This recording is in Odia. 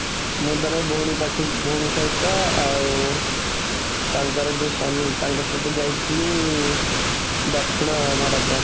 ମୁଁ ଥରେ ଭଉଣୀ ଭଉଣୀ ସହିତ, ଆଉ ତାଙ୍କର ଯୋଉ ସ୍ୱାମୀ, ତାଙ୍କ ସହିତ ଯାଇଥିଲି ଦକ୍ଷିଣ ଭାରତ